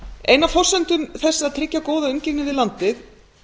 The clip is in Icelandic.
ein af forsendum þess að tryggja góða umgengni við landið